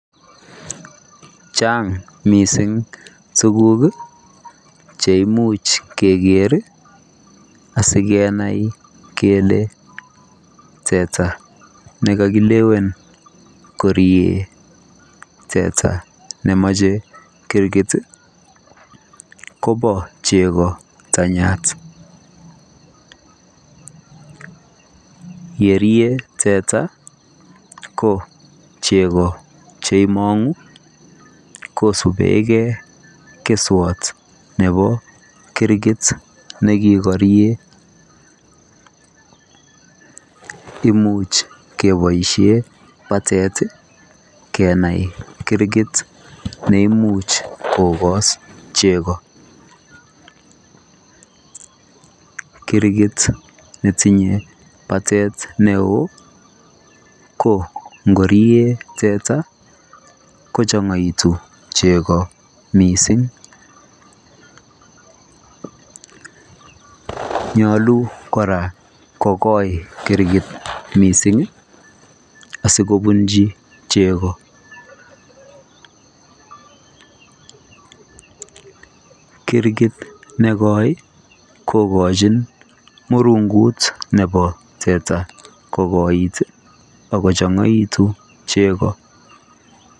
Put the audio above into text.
Chaang missing tuguuk cheimuuch keger ii asikenai kele teta nekakilewen koriik teta nemache kirkit ii koba chego tanyaat ye rie teta ko chego cheimangu kosupkei kesuat nebo kirgit nekikarien imuuch kebaisheen battery kenai kirkit neimuuch kogas chego kirgit netinye battery ne oo ko ngoriet teta kochangaitii chego missing nyaluu kora kogoi kirgit missing ii asikobunjii chego kirgit ne goi kogochiin murunguit nebo teta kogoit ii akochangaitu chego.